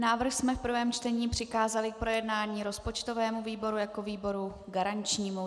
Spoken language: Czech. Návrh jsme v prvním čtení přikázali k projednání rozpočtovému výboru jako výboru garančnímu.